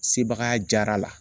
Sebagaya diyara la.